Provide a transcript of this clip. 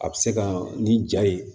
A bɛ se ka ni ja ye